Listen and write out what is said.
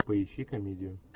поищи комедию